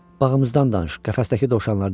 Bağımızdan danış, qəfəsdəki dovşanlardan.